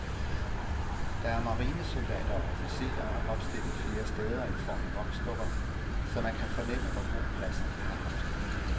Der er marinesoldater og officerer opstillet flere steder i form af voksdukker, så man kan fornemme, hvor god plads de har haft.